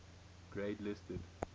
grade listed